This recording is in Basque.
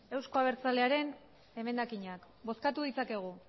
euzko abertzalearen emendakinak bozkatu ditzakegu